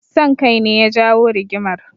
Son kai ne ya jawo rigimar.